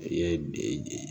I ye